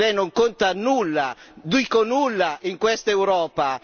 Lei non conta nulla, dico nulla in questa Europa!